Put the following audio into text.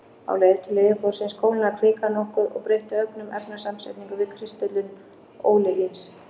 Á leið til yfirborðsins kólnaði kvikan nokkuð og breytti ögn um efnasamsetningu við kristöllun ólivíns.